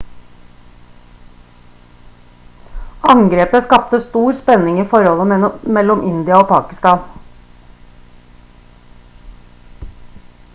angrepet skapte stor spenning i forholdet mellom india og pakistan